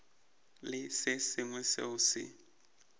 le se sengwe seo se